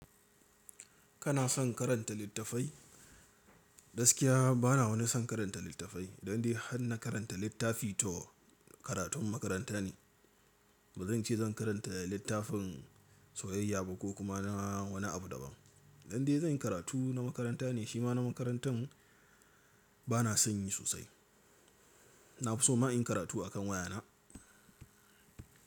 Kana son karanta littafai? Gaskiya bana wani son karanta littafai. Idan dai har na karanta littafi to karatun makaranta ne. Ba zan ce zan karanta littafin soyayya ba ko kuma na wani abu daban. Dan dai zan yi karatu na makaranta ne, shi ma na makarantan bana sanyi sosai. Na fi so ma in yi karatu a kan wayana.